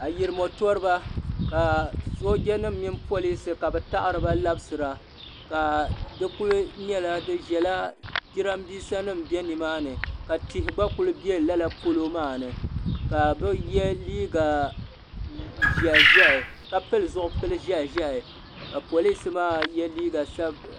Ayirimo toriba ka soojanima mini polinsi ka bɛ taɣiri ba labisira ka di kuli nyɛla bɛ ʒela jirambiisanima be nimaani ka tihi gba kuli be lala polo maa ni ka bɛ ye liiga ʒɛhi ʒɛhi ka pili zuɣupili ʒɛhi ka polinsi maa ye liiga sabila.